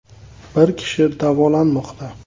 Bir kishi davolanmoqda.